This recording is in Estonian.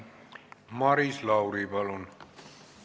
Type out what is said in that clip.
Maris Lauri, palun!